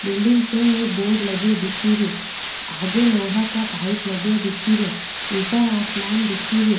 Building पे एक board लगो दिख रियो आगे लोहा का पाइप लगा दिख रिया ऊपर आसमान दिख रो।